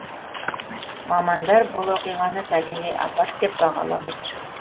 мамандар бұл оқиғаны табиғи апат деп бағалап отыр